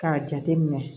K'a jate minɛ